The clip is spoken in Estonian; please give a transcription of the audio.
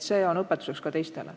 See on õpetuseks ka teistele.